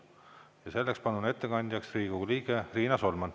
Selleks palun ettekandjaks Riigikogu liikme Riina Solmani.